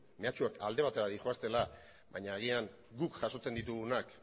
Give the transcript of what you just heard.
mehatxuak alde batera doazela baina agian guk jasotzen ditugunak